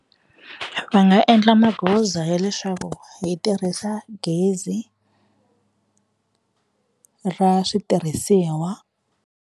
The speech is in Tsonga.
Va nga endla magoza ya leswaku hi tirhisa gezi ra switirhisiwa.